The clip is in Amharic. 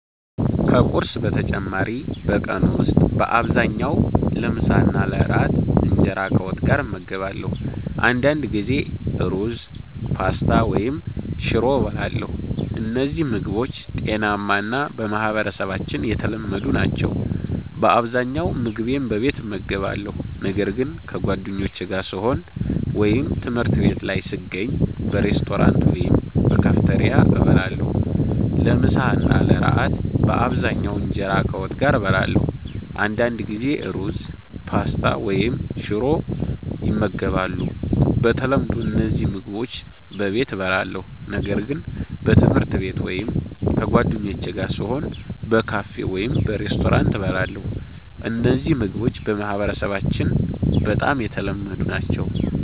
ከቁርስ በተጨማሪ በቀን ውስጥ በአብዛኛው ለምሳና ለእራት እንጀራ ከወጥ ጋር እመገባለሁ። አንዳንድ ጊዜ ሩዝ፣ ፓስታ ወይም ሽሮ እበላለሁ። እነዚህ ምግቦች ጤናማ እና በማህበረሰባችን የተለመዱ ናቸው። በአብዛኛው ምግቤን በቤት እመገባለሁ፣ ነገር ግን ከጓደኞቼ ጋር ስሆን ወይም ትምህርት ቤት ላይ ስገኝ በሬስቶራንት ወይም በካፌቴሪያ እበላለሁ። ለምሳ እና ለእራት በአብዛኛው እንጀራ ከወጥ ጋር እበላለሁ። አንዳንድ ጊዜ ሩዝ፣ ፓስታ ወይም ሽሮ ይመገባሉ። በተለምዶ እነዚህ ምግቦች በቤት እበላለሁ፣ ነገር ግን በትምህርት ቤት ወይም ከጓደኞቼ ጋር ስሆን በካፌ ወይም በሬስቶራንት እበላለሁ። እነዚህ ምግቦች በማህበረሰባችን በጣም የተለመዱ ናቸው።